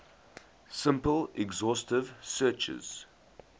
simple exhaustive searches